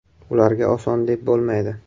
Ularga oson deb bo‘lmaydi.